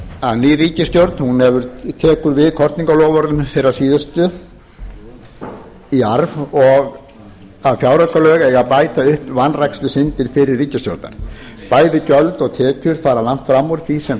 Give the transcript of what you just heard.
að ný ríkisstjórn tekur við kosningaloforðum þeirrar síðustu í arf og að fjáraukalög eiga að bæta upp vanrækslusyndir fyrri ríkisstjórnar bæði gjöld og tekjur fara langt fram úr því sem